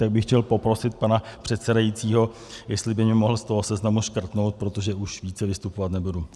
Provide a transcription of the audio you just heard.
Tak bych chtěl poprosit pana předsedajícího, jestli by mě mohl z toho seznamu škrtnout, protože už více vystupovat nebudu.